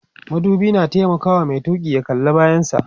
madubi na taimakawa Mai tuki ya kalla bayan sa